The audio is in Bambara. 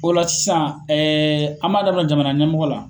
O la sisan an b'a daminɛ jamana ɲɛmɔgɔ la.